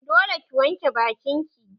Dole ki wanke bakin ki!